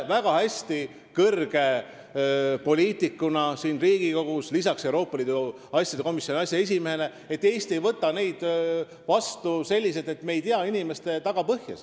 " Kõrge poliitikuna Riigikogus, sh Euroopa Liidu asjade komisjoni aseesimehena, te teate väga hästi, et Eesti ei võta inimesi vastu nii, et me ei tea nende tagapõhja.